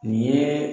Nin ye